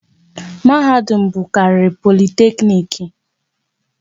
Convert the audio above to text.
Mahadum bụkarịrị Politekniiki